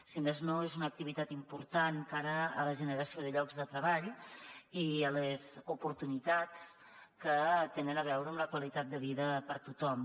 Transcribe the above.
si més no és una activitat important de cara a la generació de llocs de treball i a les oportunitats que tenen a veure amb la qualitat de vida per a tothom